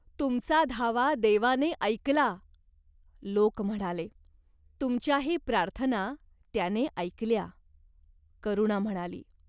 "तुमचा धावा देवाने ऐकला !" लोक म्हणाले. तुमच्याही प्रार्थना त्याने ऐकल्या." करुणा म्हणाली.